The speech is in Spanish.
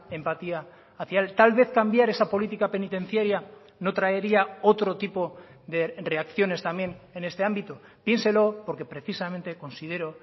empatía hacia él tal vez cambiar esa política penitenciaria no traería otro tipo de reacciones también en este ámbito piénselo porque precisamente considero